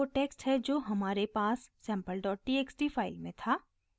यह वो टेक्स्ट है जो हमारे पास sample dot txt फाइल में था